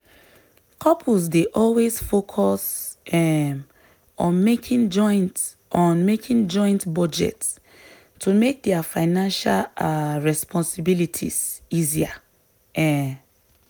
couples dey always focus um on making joint on making joint budget to make dia financial um responsibilities easier. um